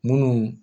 Munnu